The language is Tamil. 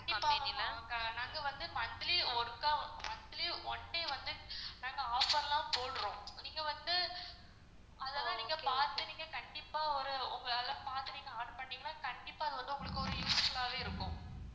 கண்டிப்பா ma'am நாங்க வந்து monthly ஒருக்கா monthly வந்து நாங்க offer லாம் போட்றோம் நீங்க வந்து அதாலன் பாத்து நீங்க கண்டிப்பா ஒரு உங்களால பாத்து நீங்க order பண்ணிங்கனா கண்டிப்பா வந்து உங்களுக்கு ஒரு useful ஆவே இருக்கும்.